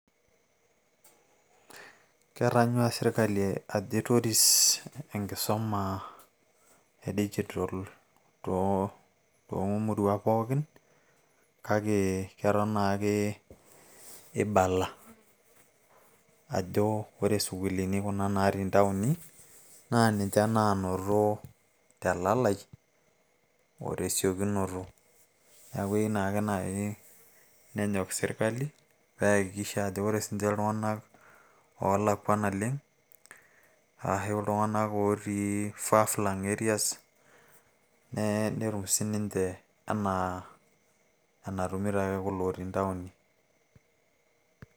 ketanyuaa sirkali ajo aitoris enkisuma, e digital too muruan pookin. kake eton naake ibala. ajo ore sukuuluni kuna natii ntaoni naa ninche naanoto te lalai o twsiokinoto. neeku keyieu naaa naji nenyok sirkali paa ore iltunganak oolakua naleng, netum sii ninche anaa enatumito ake sii ninche kulo otii ntaoni.